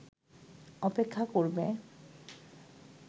অপেক্ষা করবে